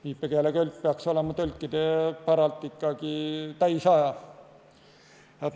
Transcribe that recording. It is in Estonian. Viipekeeletõlk peaks olema tõlkide päralt ikkagi täisaja.